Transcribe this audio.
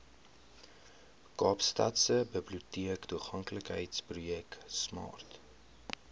kaapstadse biblioteektoeganklikheidsprojek smart